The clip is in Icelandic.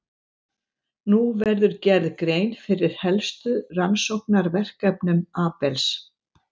Nú verður gerð grein fyrir helstu rannsóknarverkefnum Abels.